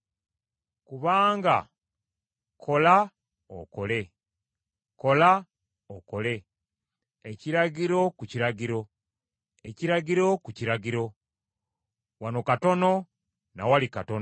Kubanga kola okole, kola okole Ekiragiro ku kiragiro, ekiragiro ku kiragiro, Wano katono na wali katono.”